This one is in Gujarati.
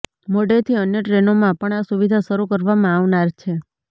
મોડેથી અન્ય ટ્રેનોમાં પણ આ સુવિધા શરૂ કરવામાં આવનાર છે